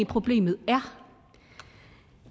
problemet